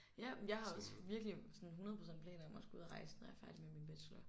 Ja men jeg har også virkelig sådan 100 % planer om at skulle ud og rejse når jeg er færdig med min bachelor